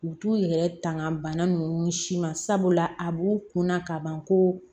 U t'u yɛrɛ tanga bana ninnu si ma sabula a b'u kunna ka ban ko